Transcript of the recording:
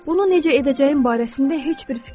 Bunu necə edəcəyim barəsində heç bir fikrim yox idi.